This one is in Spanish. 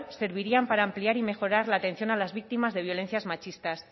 servirían para ampliar y mejorar la atención a las víctimas de violencias machistas